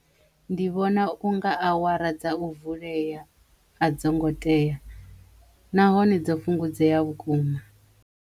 Ndi vhona u nga awara dza u vuleya a dzo ngo teya nahone dzo fhungudzeya vhukuma.